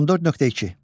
14.2.